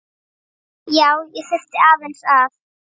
Já, ég þurfti aðeins að.